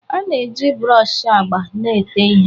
A na-eji brọshị agba na-ete ihe.